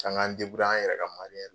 An k'an an yɛrɛ ka